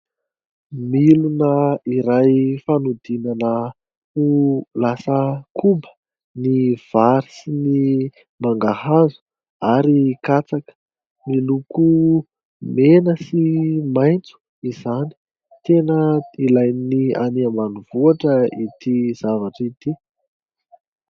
Milona iray fanodinana ho lasa koba ny vary sy ny mangahazo , ary katsaka . Miloko mena sy maintso izany . Tena ilay ny any ambany vohitra ity zavatra ity .